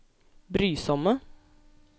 brysomme